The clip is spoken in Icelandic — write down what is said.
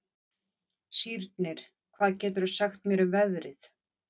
Sírnir, hvað geturðu sagt mér um veðrið?